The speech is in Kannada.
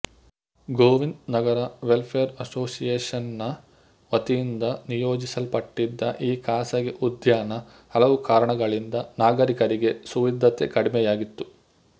ಗೋವಿಂದ್ ನಗರ ವೆಲ್ಫೇರ್ ಅಸೋಸಿಯೇಷನ್ ನ ವತಿಯಿಂದ ನಿಯೋಜಿಸಲ್ಪಟಿದ್ದ ಈ ಖಾಸಗೀ ಉದ್ಯಾನಹಲವು ಕಾರಣಗಳಿಂದ ನಾಗರಿಕರಿಗೆ ಸುವಿಧತೆ ಕಡಿಮೆಯಾಗಿತ್ತು